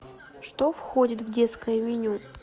что входит в детское меню